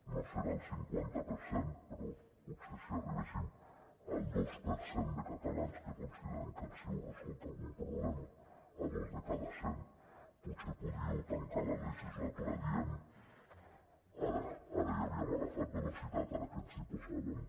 no serà el cinquanta per cent però potser si arribéssim al dos per cent de catalans que consideren que els heu resolt algun problema a dos de cada cent potser podríeu tancar la legislatura dient ara ara ja havíem agafat velocitat ara que ens hi posàvem